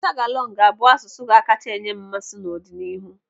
Tagalong ga-abụ asụsụ ga-akacha enye m mmasị n'ọdịnihu.